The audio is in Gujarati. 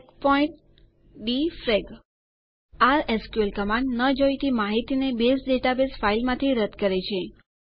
ચેકપોઇન્ટ ડિફ્રેગ આ એસક્યુએલ કમાંડ ન જોઈતી માહિતીને બેઝ ડેટાબેઝ ફાઈલમાંથી રદ્દ કરે છે